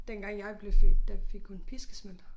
Dengang jeg blev født der fik hun piskesmæld